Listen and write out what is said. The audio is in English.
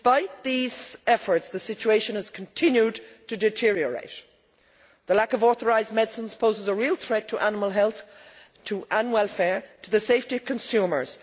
Despite these efforts, the situation has continued to deteriorate. The lack of authorised medicines poses a real threat to animal health and welfare and the safety of consumers.